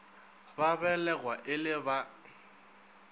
ba belegwa e le ba